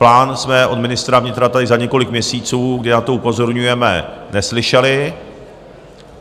Plán jsme od ministra vnitra tady za několik měsíců, kdy na to upozorňujeme, neslyšeli.